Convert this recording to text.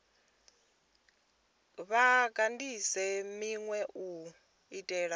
vha kandise minwe u itela